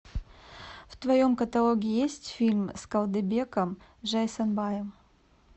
в твоем каталоге есть фильм с калдыбеком жайсанбаем